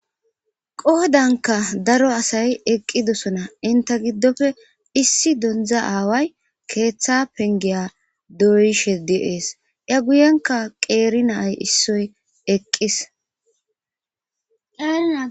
Qohodankka daro asay eqqidosona; inthe giddope issi donzza aaway keeththaa penggiya doyishe de7ees; a guyenkka qeeri na7ay issoy eqqis.